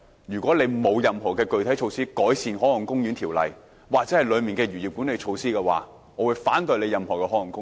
如果政府未來沒有任何具體措施改善《海岸公園條例》或當中的漁業管理措施，我會反對設立任何海岸公園。